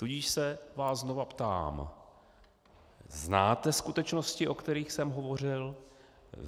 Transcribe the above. Tudíž se vás znova ptám: Znáte skutečnosti, o kterých jsem hovořil?